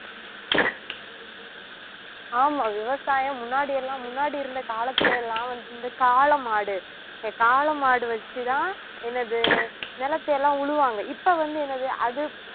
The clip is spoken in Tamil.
ஆமா விவசாயம் முன்னாடி எல்லாம் முன்னாடி இருந்த காலத்துல எல்லாம் வந்~ இந்த காளை மாடு இந்த காளை மாடு வச்சுதான் என்னது நிலத்தை எல்லாம் உழுவாங்க இப்ப வந்து என்னது அது